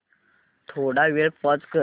थोडा वेळ पॉझ कर